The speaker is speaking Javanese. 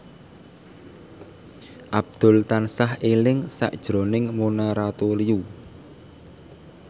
Abdul tansah eling sakjroning Mona Ratuliu